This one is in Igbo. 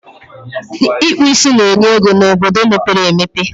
Ịkpụ ísí na-enye ego n'obodo mepere emepe